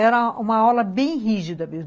Era uma aula bem rígida mesmo.